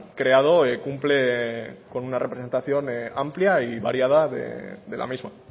creado cumple con una representación amplia y variada de la misma